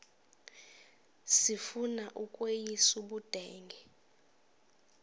sifuna ukweyis ubudenge